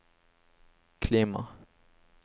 klima